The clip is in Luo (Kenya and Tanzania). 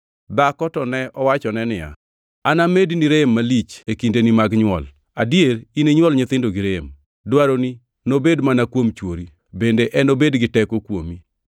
Dhako to ne owachone niya, “Anamedni rem malich e kindeni mag nywol; adier ininywol nyithindo gi rem. Dwaroni nobed mana kuom chwori bende enobed gi teko kuomi.”